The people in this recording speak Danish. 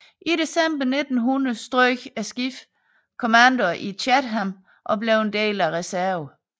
I december 1900 strøg skibet kommando i Chatham og blev en del af reserven